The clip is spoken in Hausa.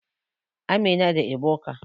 Amina da Ebuka.